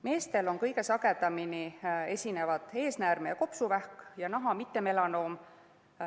Meestel esinevad kõige sagedamini eesnäärmevähk, kopsuvähk ja naha mittemelanoom.